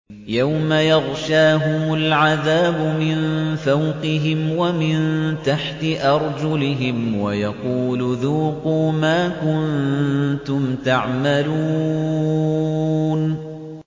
يَوْمَ يَغْشَاهُمُ الْعَذَابُ مِن فَوْقِهِمْ وَمِن تَحْتِ أَرْجُلِهِمْ وَيَقُولُ ذُوقُوا مَا كُنتُمْ تَعْمَلُونَ